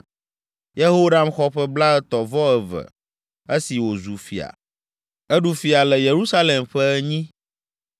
Yehoram xɔ ƒe blaetɔ̃-vɔ-eve esi wòzu fia. Eɖu fia le Yerusalem ƒe enyi.